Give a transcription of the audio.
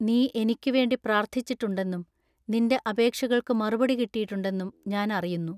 നീ എനിക്ക് വേണ്ടി പ്രാർത്ഥിച്ചിട്ടുണ്ടെന്നും നിന്റെ അപേക്ഷകൾക്കു മറുപടി കിട്ടീട്ടുണ്ടെന്നും ഞാൻ അറിയുന്നു.